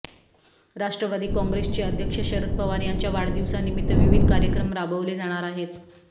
राष्ट्रवादी कॉंग्रेसचे अध्यक्ष शरद पवार यांच्या वाढदिवसानिमित्त विविध कार्यक्रम राबवले जाणार आहेत